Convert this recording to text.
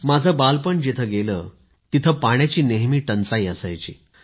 माझं बालपण जिथे गेलं तिथे पाण्याची नेहमी टंचाई असायची